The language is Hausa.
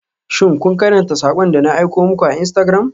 Shin kun karanta sakon da na aiko muku a Instagram?